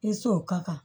I sɔn o ka kan